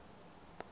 vanhu lava a va ri